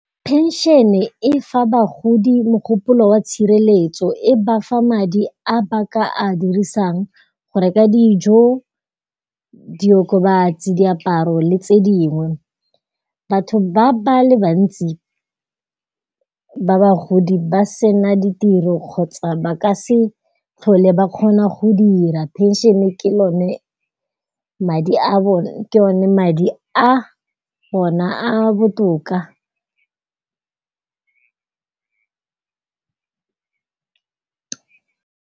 Phenšene e fa bagodi mogopolo wa tshireletso, e bafa madi a baka a dirisang go reka dijo, diokobatsi, diaparo le tse dingwe. Batho ba le bantsi ba bagodi ba sena ditiro kgotsa ba ka se tlhole ba kgona go dira phenšene ke yone madi a bone a a botoka.